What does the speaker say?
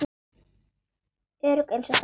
Örugg einsog þær.